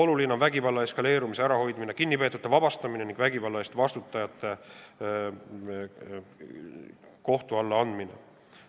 Oluline on vägivalla eskaleerumise ärahoidmine, kinnipeetute vabastamine ning vägivalla eest vastutajate kohtu alla andmine.